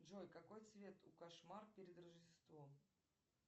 джой какой цвет у кошмар перед рождеством